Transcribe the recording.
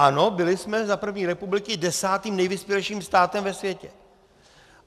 Ano, byli jsme za první republiky desátým nejvyspělejším státem ve světě.